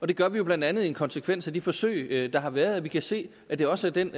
det gør vi jo blandt andet i en konsekvens af de forsøg der har været vi kan se at det også er den